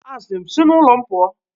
A sị m, si n'ụlọ m pụọ!